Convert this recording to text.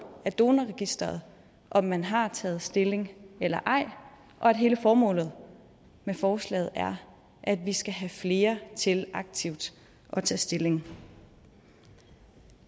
af donorregistret om man har taget stilling eller ej og at hele formålet med forslaget er at vi skal have flere til aktivt at tage stilling